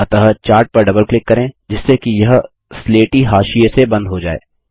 अतः चार्ट पर double click करें जिससे कि यह स्लेटी हाशिये से बंद हो जाय